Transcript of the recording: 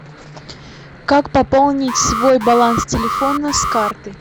как пополнить свой баланс телефона с карты